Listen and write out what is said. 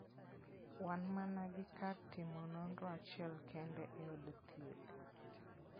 Wan mana gi kar timo nonro achiel kende e od thieth.